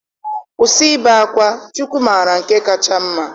Kwụsị ibe akwa, Chukwu mara nke kacha mma.